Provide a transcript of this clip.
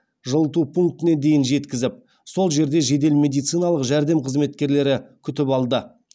жылыту пунктіне дейін жеткізіп сол жерде жедел медициналық жәрдем қызметкерлері күтіп алды